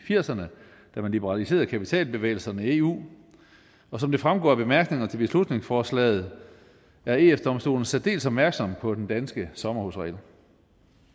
firserne da man liberaliserede kapitalbevægelserne i eu som det fremgår af bemærkningerne til beslutningsforslaget er eu domstolen særdeles opmærksom på den danske sommerhusregel